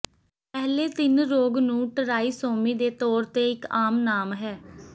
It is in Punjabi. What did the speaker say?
ਪਹਿਲੇ ਤਿੰਨ ਰੋਗ ਨੂੰ ਟ੍ਰਾਈਸੋਮੀ ਦੇ ਤੌਰ ਤੇ ਇੱਕ ਆਮ ਨਾਮ ਹੈ